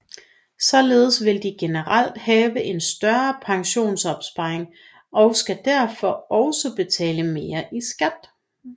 Således vil de generelt have en større pensionsopsparing og dermed også betale mere i skat